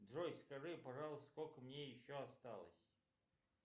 джой скажи пожалуйста сколько мне еще осталось